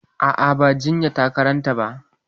A'a, ba jinya ta karanta ba.